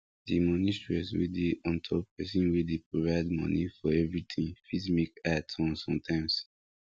di moni stress wey dey ontop person wey dey provide moni for everything fit make eye turn sometimes